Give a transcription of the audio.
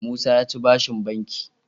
Musa yaci bashin banki